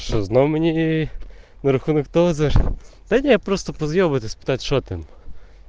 все равно мне не наркотик то за здание просто позволит испытать шок им